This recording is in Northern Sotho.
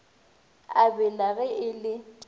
a bela ge e le